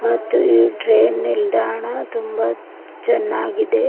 ಮತ್ತು ಈ ಟ್ರೈನ್ ನಿಲ್ದಾಣ ತುಂಬಾ ಚೆನ್ನಾಗಿ.